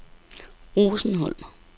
Rosenholm